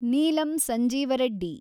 Neelam Sanjiva Reddy